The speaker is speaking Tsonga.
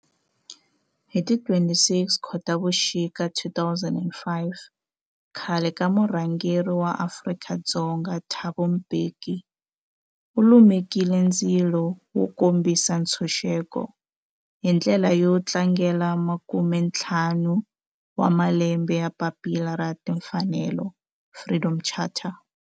Hi ti 26 Khotavuxika 2005 khale ka murhangeri wa Afrika-Dzonga Thabo Mbeki u lumekile ndzilo wo kombisa ntshuxeko, hi ndlela yo tlangela makumentlhanu wa malembe ya papila ra timfanelo, Freedom Charter.